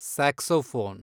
saxophone